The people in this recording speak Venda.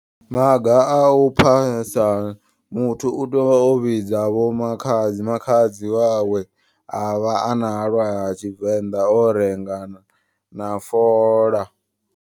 Maga a u phasa muthu utea uvha o vhidza vho makhadzi. Makhadzi wawe avha ana halwa ha tshivenḓa o renga na na fola.